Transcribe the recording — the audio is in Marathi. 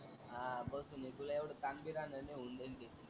हा बसून आहे तुला येवड तान बी राहणार होऊन जाईल ते.